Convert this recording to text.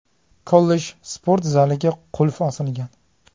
Kollej sport zaliga qulf osilgan.